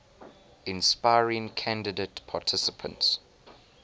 inspiring candidate participants